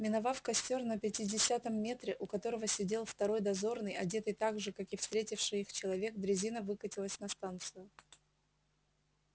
миновав костёр на пятидесятом метре у которого сидел второй дозорный одетый так же как и встретивший их человек дрезина выкатилась на станцию